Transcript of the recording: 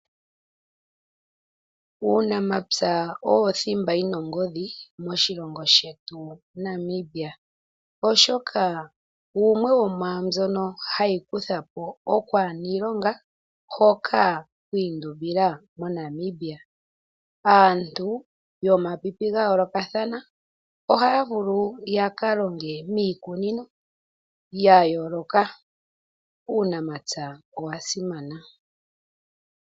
Uunamapya owo thimba yina ongodhi moshilongo shetu Namibia, oshoka wumwe womwaandyono hayi kutha po okwaana iilonga hoka kwiindumbila moNamibia. Aantu yomapipi gayolokathana ohaya vulu ya ka longe miikunino ya yooloka, uunamapya owa simana.